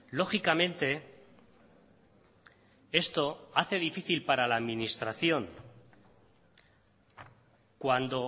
lógicamente esto hace difícil para la administración cuando